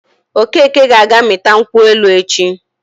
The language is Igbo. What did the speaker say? Okeke ga-aga mịta nkwụ elu echi.